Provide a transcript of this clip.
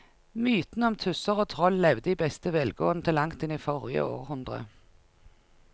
Mytene om tusser og troll levde i beste velgående til langt inn i forrige århundre.